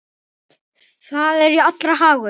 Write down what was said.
Það er jú allra hagur.